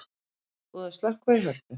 Búið að slökkva í Hörpu